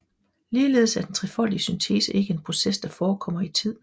Ligeledes er den trefoldige syntese ikke en proces der forekommer i tid